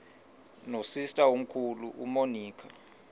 nosister omkhulu umonica